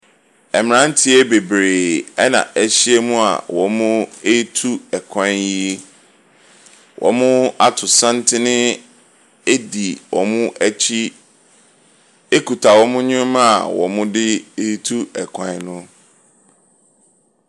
Mmeranteɛ bebree na ahyiam a wɔretu kwan yi. Wɔato santene di wɔn akyi kita wɔn nneɛma wɔde ɛretu kwan no.